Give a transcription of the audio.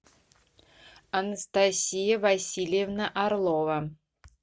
анастасия васильевна орлова